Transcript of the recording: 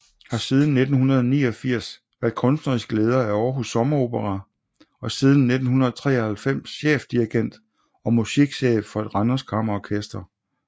Har siden 1989 været kunstnerisk leder af Aarhus Sommeropera og siden 1993 chefdirigent og musikchef for Randers Kammerorkester